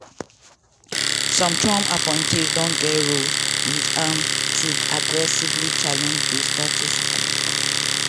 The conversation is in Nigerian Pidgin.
some trump appointees don get roles wit aim to aggressively challenge di status quo.